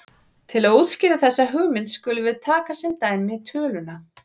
Til að útskýra þessa hugmynd skulum við taka sem dæmi töluna